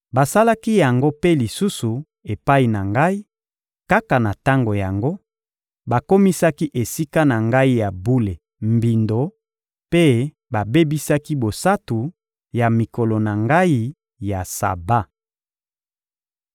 Basalaki yango mpe lisusu epai na Ngai: kaka na tango yango, bakomisaki Esika na Ngai ya bule mbindo mpe babebisaki bosantu ya mikolo na Ngai ya Saba.